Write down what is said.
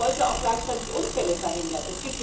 Man wollte auch gleichzeitig Unfälle verhindern.